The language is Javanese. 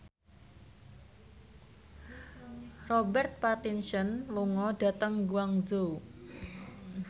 Robert Pattinson lunga dhateng Guangzhou